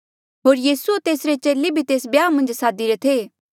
होर यीसू होर तेसरे चेले भी तेस ब्याहा मन्झ सादीरे थे